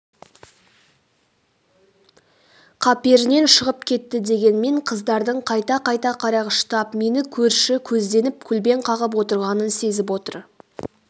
қаперінен шығып кетті дегенмен қыздардың қайта-қайта қарағыштап мені көрші көзденіп көлбең қағып отырғанын сезіп отыр